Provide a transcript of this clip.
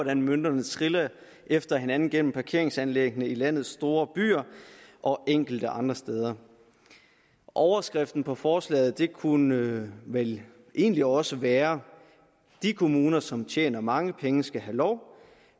hvordan mønterne triller efter hinanden gennem parkeringsanlæggene i landets store byer og enkelte andre steder overskriften på forslaget kunne vel egentlig også være de kommuner som tjener mange penge skal have lov